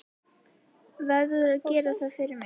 Verður að gera það fyrir mig.